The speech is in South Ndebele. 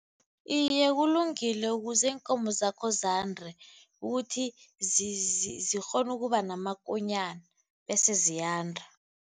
Iye, kulungile ukuze iinkomo zakho zande, ukuthi zikghone ukuba namakonyana bese ziyanda.